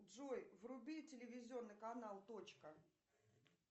джой вруби телевизионный канал точка